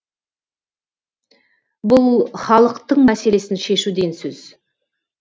бұл халықтың мәселесін шешу деген сөз